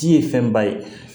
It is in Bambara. Ji ye fɛnba ye